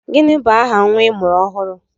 Gịnị bụ aha nnwa I mụrụ ọhụrụ?